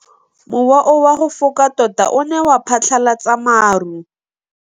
Mowa o wa go foka tota o ne wa phatlalatsa maru.